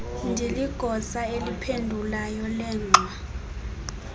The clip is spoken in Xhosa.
ndiligosa eliphendulayo lengxwa